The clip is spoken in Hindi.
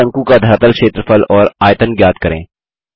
अब शंकु का धरातल क्षेत्रफल और आयतन ज्ञात करें